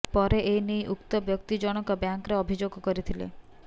ପରେ ଏନେଇ ଉକ୍ତ ବ୍ୟକ୍ତି ଜଣଙ୍କ ବ୍ୟାଙ୍କରେ ଅଭିଯୋଗ କରିଥିଲେ